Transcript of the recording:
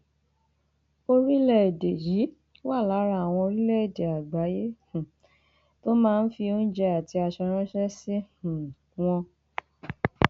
orílẹèdè yìí wà lára àwọn orílẹèdè àgbáyé um tó máa ń fi oúnjẹ àti aṣọ ránṣẹ sí um wọn